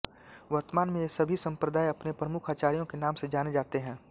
वर्तमान में ये सभी संप्रदाय अपने प्रमुख आचार्यो के नाम से जाने जाते हैं